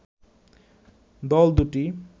দল দুটি